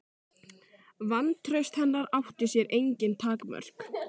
Vantraust hennar átti sér engin takmörk.